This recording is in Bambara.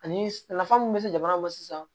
Ani nafa mun be se jamana ma sisan